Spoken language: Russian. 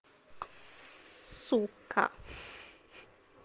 сука